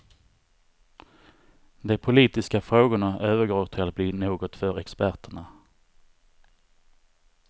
De politiska frågorna övergår till att bli något för experterna.